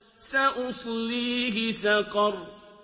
سَأُصْلِيهِ سَقَرَ